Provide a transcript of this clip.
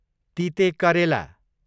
तितेकरेला